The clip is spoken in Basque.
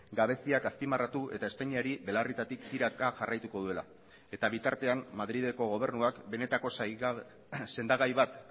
gabeziak azpimarratu eta espainiari belarrietatik tiraka jarraituko duela eta bitartean madrileko gobernuak benetako sendagai bat